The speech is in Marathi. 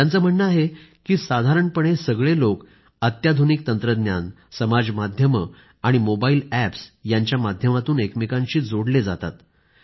त्यांचं म्हणणं आहे की साधारणपणे सगळे लोक अत्याधुनिक तंत्रज्ञान समाज माध्यमं आणि मोबाईल अॅपस् यांच्या माध्यमातून एकमेकांशी जोडले जातात